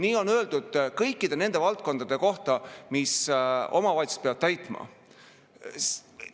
Nii on öeldud kõikide kohta, mida omavalitsused peavad täitma.